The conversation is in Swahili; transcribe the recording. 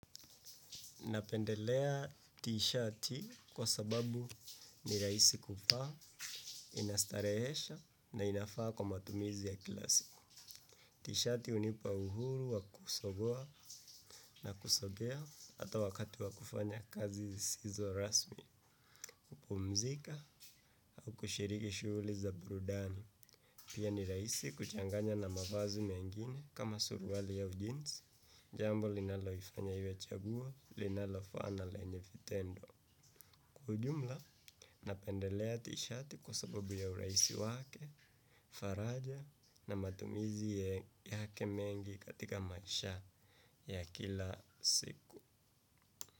Napendelea t-shati kwa sababu ni rahisi kuvaa, inastarehesha na inafaa kwa matumizi ya kila siku. T-shati hunipa uhuru wa kusogoa na kusogea ata wakati wa kufanya kazi sizizo rasmi, kupumzika au kushiriki shughuli za burudani. Pia ni rahisi kuchanganya na mavazi mengine kama suruali au jeans, jambo linaloifanya iwe chaguo linalofaa na lenye vitendo. Kwa ujumla, napendelea tishati kwa sababu ya urahisi wake, faraja na matumizi yake mengi katika maisha ya kila siku.